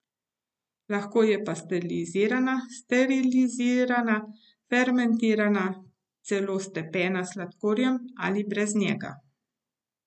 Lahko je pasterizirana, sterilizirana, fermentirana, celo stepena s sladkorjem ali brez njega.